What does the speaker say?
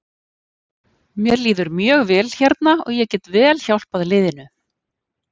Mér líður mjög vel hérna og ég get vel hjálpað liðinu.